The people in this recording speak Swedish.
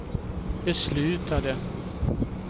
beslutade